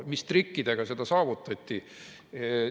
Mis trikkidega see saavutati?